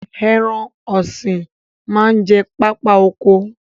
Ẹran ọ̀sìn máa ń jẹ pápá oko